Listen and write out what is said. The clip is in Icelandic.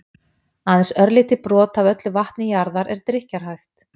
Aðeins örlítið brot af öllu vatni jarðar er drykkjarhæft.